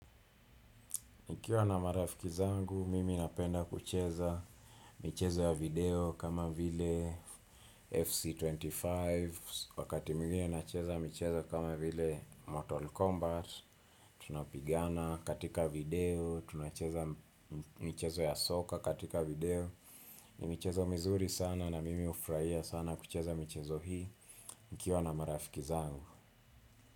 Nikiwa na marafiki zangu, mimi napenda kucheza michezo ya video kama vile FC25 wakati mwingine nacheza michezo kama vile Mortal Kombat, tunapigana katika video, tunacheza michezo ya soka katika video, ni michezo mizuri sana na mimi hufurahia sana kucheza michezo hii nikiwa na marafiki zangu.